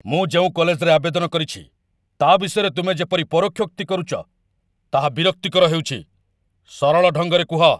ମୁଁ ଯେଉଁ କଲେଜରେ ଆବେଦନ କରିଛି, ତା' ବିଷୟରେ ତୁମେ ଯେପରି ପରୋକ୍ଷୋକ୍ତି କରୁଛ, ତାହା ବିରକ୍ତିକର ହେଉଛି। ସରଳ ଢଙ୍ଗରେ କୁହ।